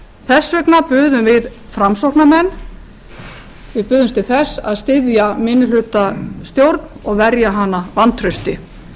þess vegna buðumst við framsóknarmenn til þess að styðja minnihlutastjórn og verja hana vantrausti